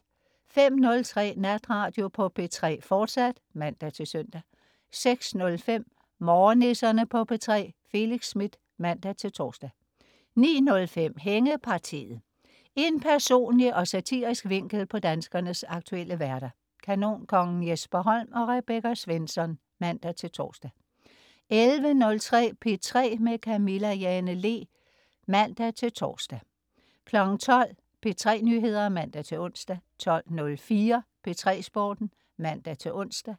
05.03 Natradio på P3, fortsat (man-søn) 06.05 Morgennisserne på P3. Felix Smith (man-tors) 09.05 Hængepartiet. En personlig og satirisk vinkel på danskernes aktuelle hverdag. Kanonkongen Jesper Holm og Rebecca Svensson (man-tors) 11.03 P3 med Camilla Jane Lea (man-tors) 12.00 P3 Nyheder (man-ons) 12.04 P3 Sporten (man-ons)